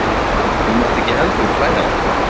Þú mátt ekki heldur hlæja að honum.